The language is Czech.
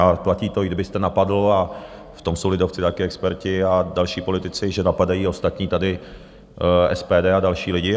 A platí to, i kdybyste napadl, a v tom jsou lidovci taky experti, a další politici, že napadají ostatní tady, SPD a další lidi.